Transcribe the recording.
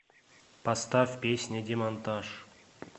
поставь песня демонтаж